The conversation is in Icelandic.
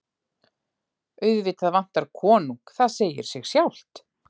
Auðvitað vantar konung, það segir sig sjálft.